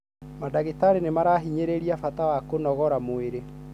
Madagĩtarĩ nĩ mahinyagĩrĩria bata wa kũnogora mwĩrĩ.